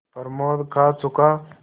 प्रमोद खा चुका